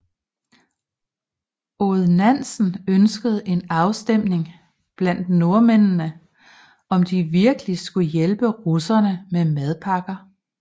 Odd Nansen ønskede en afstemning blandt nordmændene om de virkelig skulle hjælpe russerne med madpakker